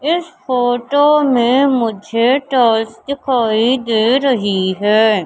इस फोटो में मुझे टाइल्स दिखाई दे रही है।